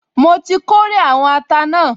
Mo ti kórè àwọn ata náà